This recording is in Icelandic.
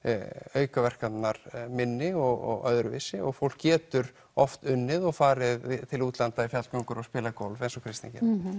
aukaverkanirnar minni og öðruvísi og fólk getur oft unnið og farið til útlanda í fjallgöngur og spilað golf eins og Kristín gerði